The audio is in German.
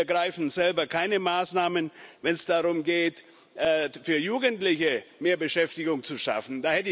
Sie ergreifen selber keine Maßnahmen, wenn es darum geht, für Jugendliche mehr Beschäftigung zu schaffen.